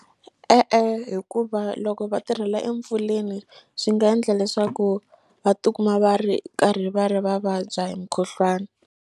E-e hikuva loko va tirhela empfuleni swi nga endla leswaku va tikuma va ri karhi va ri va vabya hi mukhuhlwana.